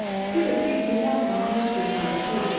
Bir də ki, güllə atmağın heç bir faydası yox idi.